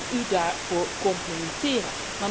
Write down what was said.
Mag ik u daarvoor complimenteren?